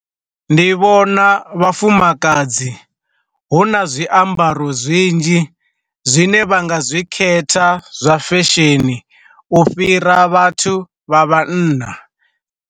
Ndi vhona vhafumakadzi hu na zwiambaro zwinzhi zwine vha nga zwi khetha zwa fesheni u fhira vhathu vha vhanna.